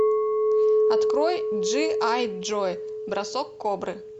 открой джи ай джо бросок кобры